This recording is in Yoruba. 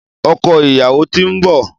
ọkọ ìyàwó tín nbọ